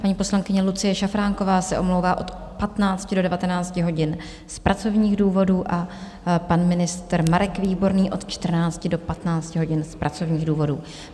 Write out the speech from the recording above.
Paní poslankyně Lucie Šafránková se omlouvá od 15 do 19 hodin z pracovních důvodů a pan ministr Marek Výborný od 14 do 15 hodin z pracovních důvodů.